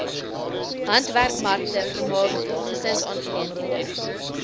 handwerkmarkte vermaak gesinsaangeleenthede